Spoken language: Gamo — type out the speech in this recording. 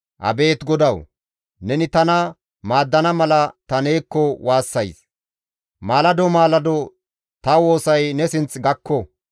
Abeet GODAWU! Neni tana maaddana mala ta neekko waassays; maalado maalado ta woosay ne sinth gakko.